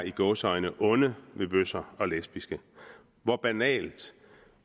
i gåseøjne er onde mod bøsser og lesbiske hvor banalt